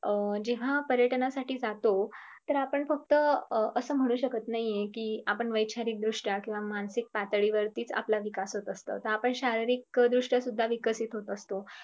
अं जेव्हा पर्यटनासाठी जातो तर आपण फक्त असं म्हणू शकत नाही कि आपण वैचारिक दृष्टया किंव्हा मानसिक पातळीवरती च आपला विकास होत असतो आपण शारीरिक दृष्टया सुध्या विकशीत होत असतो.